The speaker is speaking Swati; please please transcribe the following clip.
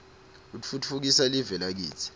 utfutfukisa live lakitsi